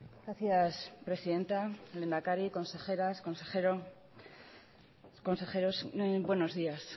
gracias presidenta lehendakari consejeras consejeros buenos días